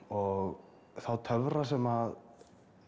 og þá töfra sem